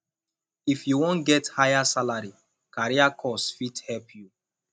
if you wan get higher salary career course fit help you